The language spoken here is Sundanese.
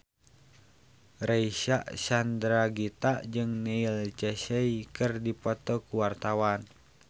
Reysa Chandragitta jeung Neil Casey keur dipoto ku wartawan